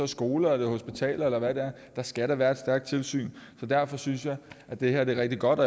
skoler og hospitaler eller hvad det er der skal da være et stærkt tilsyn derfor synes at det her er rigtig godt